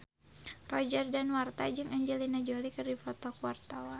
Roger Danuarta jeung Angelina Jolie keur dipoto ku wartawan